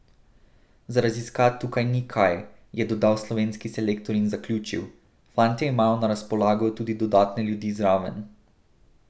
Za raziskat tukaj ni kaj,' je dodal slovenski selektor in zaključil: 'Fantje imajo na razpolago tudi dodatne ljudi zraven.